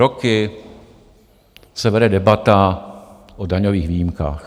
Roky se vede debata o daňových výjimkách.